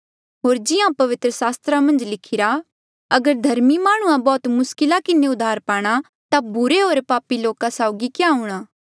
होर जिहां पवित्र सास्त्रा मन्झ लिखिरा अगर धर्मी माह्णुंआं बौह्त मुस्किला किन्हें उद्धार पाणा ता बुरे होर पापी लोका साउगी क्या हूंणां